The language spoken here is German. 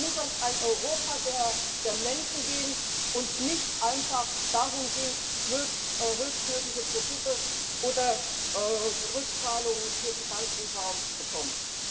Es muss auch ein Europa der der Menschen geben und nicht einfach darum gehen, höchstmögliche Profite oder Rückzahlungen für die Banken herauszubekommen.